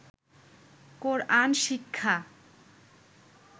কোরআন শিক্ষা